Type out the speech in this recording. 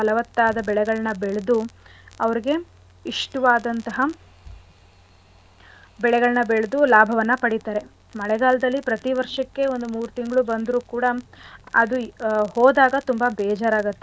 ಬೆಳೆಗಳ್ನ ಬೆಳೆದು ಅವ್ರಿಗೆ ಇಷ್ಟವಾದಂತಹ ಬೆಳೆಗಳ್ನ ಬೆಳ್ದು ಲಾಭವನ್ನ ಪಡಿತಾರೆ. ಮಳೆಗಾಲ್ದಲ್ಲಿ ಪ್ರತಿ ವರ್ಷಕ್ಕೆ ಒಂದು ಮೂರ್ ತಿಂಗ್ಳು ಬಂದ್ರು ಕೂಡ ಅದು ಹೋದಾಗ ತುಂಬಾ ಬೇಜಾರ್ ಆಗತ್ತೆ.